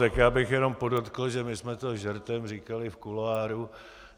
Tak já bych jenom podotkl, že my jsme to žertem říkali v kuloáru.